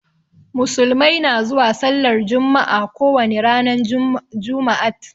Musulmai na zuwa sallar jumma'a ko wani ranan jumaat.